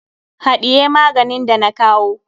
Haɗiye maganin da na kawo.